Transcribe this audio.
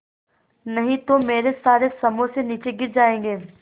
नहीं तो मेरे सारे समोसे नीचे गिर जायेंगे